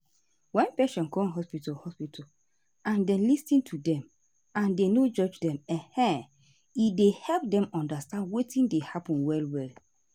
wen patient come hospital hospital and dem lis ten to dem and dem no judge dem um e dey help dem undastand wetin dey happen well well.